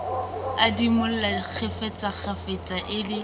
a idimola kgafetsakgafetsa e le